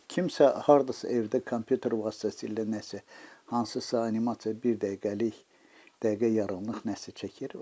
Kimsə hardasa evdə kompüter vasitəsilə nəsə hansısa animasiya bir dəqiqəlik, dəqiqə yarımlıq nəsə çəkir.